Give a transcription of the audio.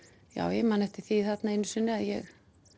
ég man eftir því þarna einu sinni að ég